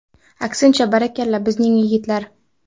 Aksincha, barakalla, bizning yigitlar.